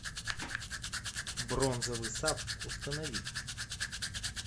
бронзовый сад установи